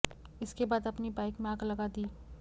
इसके बाद अपनी बाइक में आग लगा दी